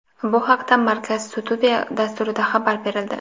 Bu haqda "Markaz studiya" dasturida xabar berildi.